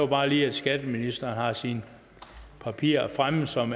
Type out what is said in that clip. bare lige at skatteministeren har sine papirer fremme som